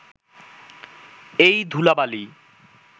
এই ধূলা-বালি